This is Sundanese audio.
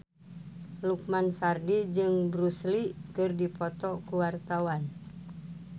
Lukman Sardi jeung Bruce Lee keur dipoto ku wartawan